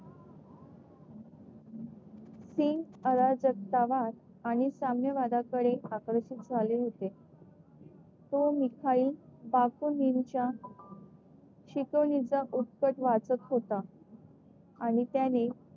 सिंग आणि साम्यवादा कडे आकर्षित आकर्षण झाले होते. तो मिसाईल शिकवणीचा उत्कट वाचक होता आणि त्याने